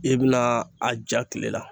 I bɛna a ja tile la